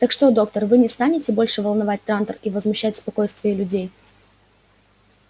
так что доктор вы не станете больше волновать трантор и возмущать спокойствие людей